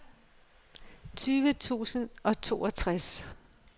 tyve tusind og toogtres